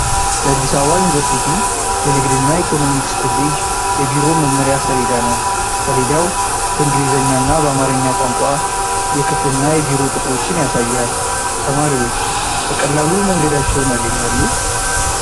የአዲስ አበባ ዩኒቨርሲቲ የንግድና ኢኮኖሚክስ ኮሌጅ የቢሮ መመሪያ ሰሌዳ ነው። ሰሌዳው በእንግሊዝኛና በአማርኛ ቋንቋ የክፍልና የቢሮ ቁጥሮችን ያሳያል። ተማሪዎች በቀላሉ መንገዳቸውን ያገኛሉ?